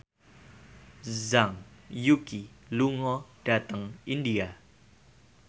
Zhang Yuqi lunga dhateng India